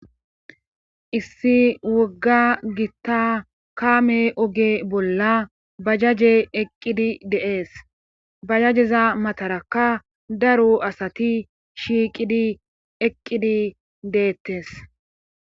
Issi wogga gita kaame oge bolla bajaje eqqidi de'ees. Bajajeza matarakka daro asatishiiqidi eqqidi deetees.